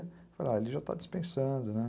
Eu falei, ah, ele já está dispensando, né?